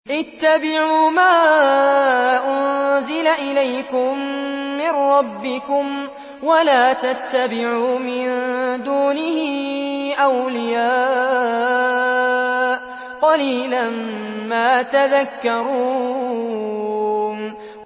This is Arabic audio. اتَّبِعُوا مَا أُنزِلَ إِلَيْكُم مِّن رَّبِّكُمْ وَلَا تَتَّبِعُوا مِن دُونِهِ أَوْلِيَاءَ ۗ قَلِيلًا مَّا تَذَكَّرُونَ